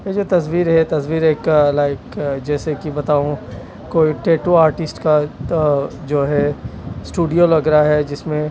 ये जो तस्वीर है तस्वीर एक लाइक जैसे कि बताऊं कोई टेटू आर्टिस्ट का जो है स्टूडियो लग रहा है जिसमें--